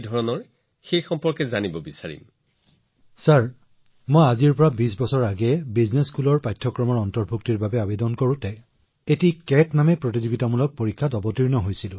মহোদয় যেতিয়া মই বিশ বছৰ আগতে এখন ব্যৱসায়িক বিদ্যালয়ৰ বাবে আবেদন কৰিছিলো ইয়াত চিএটি নামৰ প্ৰতিযোগিতামূলক পৰীক্ষা হৈছিল